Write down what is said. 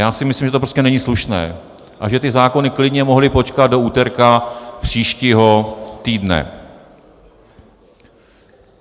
Já si myslím, že to prostě není slušné a že ty zákony klidně mohly počkat do úterý příštího týdne.